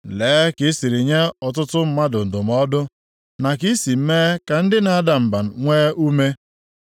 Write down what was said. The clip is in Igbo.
Lee ka i siri nye ọtụtụ mmadụ ndụmọdụ, na ka i si mee ka ndị na-ada mba nwee ume.